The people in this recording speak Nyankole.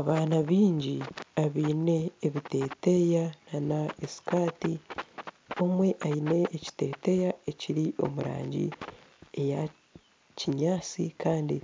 Abaana baingi abaine ebiteteya na sikati omwe aine ekiteteya ekiri omurangi eya kinyantsi kandi